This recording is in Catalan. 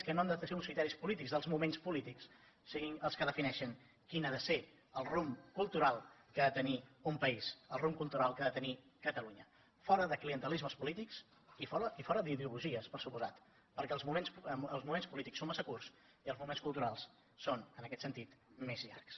que no han de ser uns criteris polítics dels moments polítics siguin els que defineixin quin ha ser el rumb cultural que ha de tenir un país el rumb cultural que ha de tenir catalunya fora de clientelismes polítics i fora d’ideologies per descomptat perquè els moments polítics són massa curts i els moments culturals són en aquest sentit més llargs